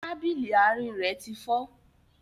Tábìlì àárín rẹ ti fọ́